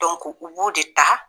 u b'o de ta